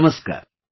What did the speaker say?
Namaskar